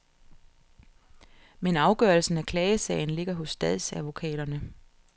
Men afgørelsen af klagesagen ligger hos statsadvokaterne.